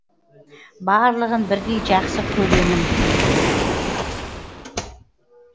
барлығын бірдей жақсы көремін